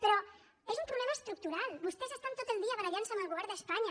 però és un problema estructural vostès estan tot el dia barallant se amb el govern d’espanya